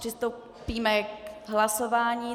Přistoupíme k hlasování.